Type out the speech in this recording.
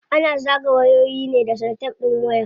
Ana zagaye wayoyi ne da salatef din waya.